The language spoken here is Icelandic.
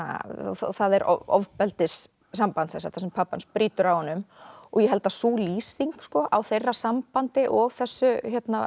það er ofbeldissamband þar sem pabbi hans brýtur á honum ég held að sú lýsing á þeirra sambandi og þessu